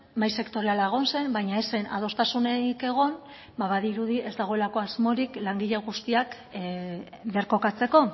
mahai sektoriala egon zen baina ez zen adostasunik egon ba badirudi ez dagoelako asmorik langile guztiak birkokatzeko